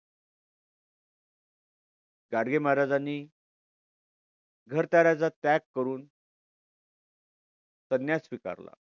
गाडगे महाराजांनी घरादाराचा त्याग करून संन्यास स्वीकारला.